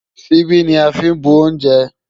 Ṣíbí ni a fí ń bu oúnjẹ.